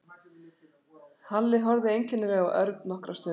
Halli horfði einkennilega á Örn nokkra stund.